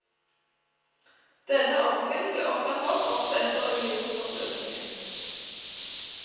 Denne ordningen ble opprettholdt også etter unionsoppløsningen.